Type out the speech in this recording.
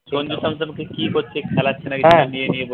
সঞ্জিব শান্তনু কে কী করছে খেলাচ্ছে নাকি